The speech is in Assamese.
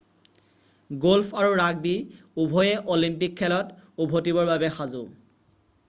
গল্ফ আৰু ৰাগবী উভয়ে অলিম্পিক খেলত উভতিবৰ বাবে সাজু